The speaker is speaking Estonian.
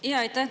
Aitäh!